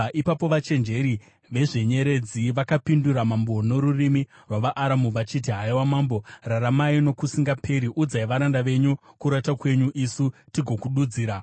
Ipapo vachenjeri vezvenyeredzi vakapindura mambo norurimi rwavaAramu vachiti, “Haiwa mambo, raramai nokusingaperi! Udzai varanda venyu kurota kwenyu, isu tigodudzira.”